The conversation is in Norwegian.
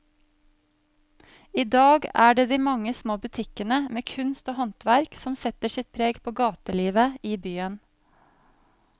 I dag er det de mange små butikkene med kunst og håndverk som setter sitt preg på gatelivet i byen.